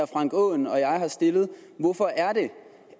frank aaen og jeg har stillet hvorfor er det